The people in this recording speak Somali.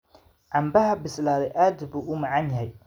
Canbaha bislaaday aad buu u macaan yahay.